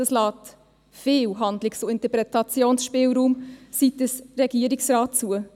Dies lässt viel Handlungs- und Interpretationsspielraum seitens des Regierungsrates zu.